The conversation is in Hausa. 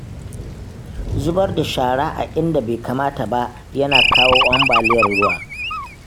Zubar da shara a inda bai kamata ba yana kawo ambaliyar ruwa